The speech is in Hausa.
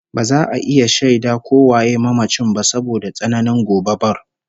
Ba za a iya shaida ko waye mamacin ba saboda tsananin gobabar